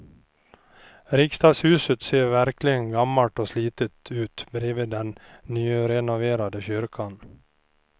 Riksdagshuset ser verkligen gammalt och slitet ut bredvid den nyrenoverade kyrkan.